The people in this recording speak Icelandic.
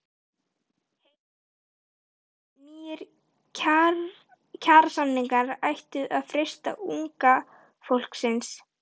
Heimir Már: Nýir kjarasamningar ættu að freista unga fólksins?